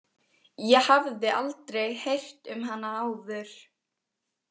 Ég hafði aldrei heyrt um hana áður.